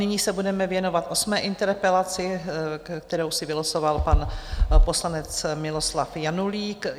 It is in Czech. Nyní se budeme věnovat osmé interpelaci, kterou si vylosoval pan poslanec Miloslav Janulík.